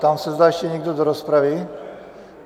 Ptám se, zda ještě někdo do rozpravy.